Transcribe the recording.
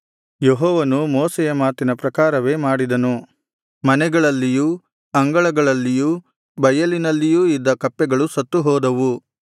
ಯೆಹೋವನು ಮೋಶೆಯ ಮಾತಿನ ಪ್ರಕಾರವೇ ಮಾಡಿದನು ಮನೆಗಳಲ್ಲಿಯೂ ಅಂಗಳಗಳಲ್ಲಿಯೂ ಬಯಲಿನಲ್ಲಿಯೂ ಇದ್ದ ಕಪ್ಪೆಗಳು ಸತ್ತುಹೋದವು